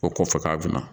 O ko fɔ k'a bɛna